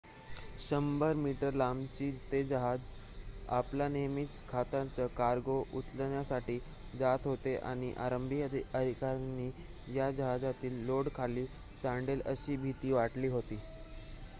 100-मीटर लांबीचे ते जहाज आपला नेहमीचा खतांचा कार्गो उचलण्यासाठी जात होते आणि आरंभी अधिकाऱ्यांना या जहाजातील लोड खाली सांडेल अशी भिती वाटली होती